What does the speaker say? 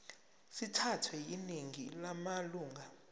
sithathwe yiningi lamalunga